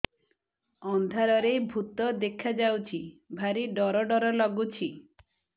ଅନ୍ଧାରରେ ଭୂତ ଦେଖା ଯାଉଛି ଭାରି ଡର ଡର ଲଗୁଛି